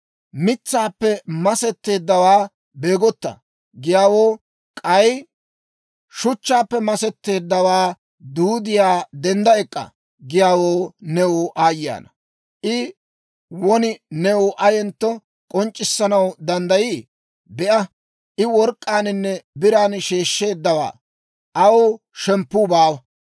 Mitsaappe masetteeddawaa ‹Beegotta!› giyaawoo, k'ay shuchchaappe masetteedda duudiyaa, ‹Dendda ek'k'a!› giyaawoo, new aayye ana! I won new ayentto k'onc'c'issanaw danddayii? Be'a, I work'k'aaninne biran sheeshsheeddawaa; aw shemppuu baawa.